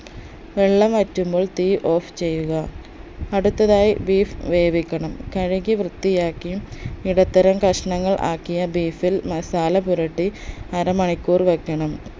വെള്ളം വറ്റുമ്പോൾ തീ off ചെയ്യുക അടുത്തതായി beef വേവിക്കണം കഴുകി വൃത്തിയാക്കി ഇടത്തരം കഷ്ണങ്ങൾ ആക്കിയ beef ൽ masala പുരട്ടി അര മണിക്കൂർ വെക്കണം